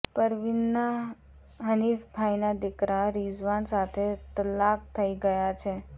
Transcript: પરવીનના હનિફભાઇના દિકરા રિઝવાન સાથે તલ્લાક થઇ ગયા છે